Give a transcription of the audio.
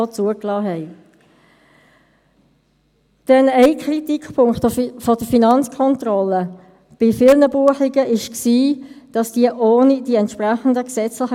Das mache ich mit dem FiKo-Präsidenten und meinen Leuten, daher leitet mein Vizepräsident durch den Geschäftsbericht.